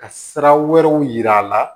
Ka sira wɛrɛw yira a la